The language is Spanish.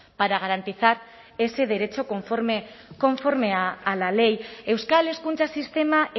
para garantizar ese derecho conforme a la ley euskal hezkuntza sistema